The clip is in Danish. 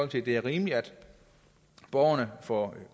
det er rimeligt at borgerne får